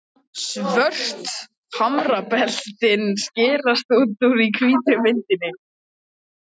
Svört hamrabeltin skerast út úr hvítri myndinni.